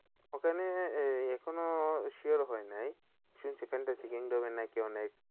ওখানে এই এখনো sure হইনাই এই কিন্তু নাকি অনেক